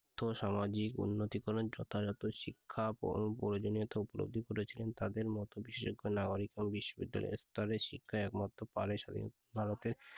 আর্থসামাজিক উন্নতিকরণের যথাযথ শিক্ষা প্রয়ো প্রয়োজনীয়তা উপলব্ধি করেছিলেন তাদের মত বিশেষজ্ঞ নাগরিকরা বিশ্ববিদ্যালয় স্তরে শিক্ষার একমাত্র পারে